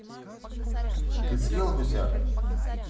ты съел гуся